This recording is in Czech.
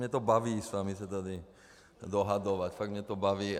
Mě to baví s vámi se tady dohadovat, fakt mě to baví.